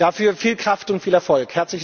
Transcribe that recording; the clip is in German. Dafür viel Kraft und viel Erfolg!